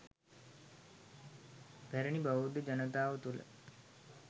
පැරැණි බෞද්ධ ජනතාව තුළ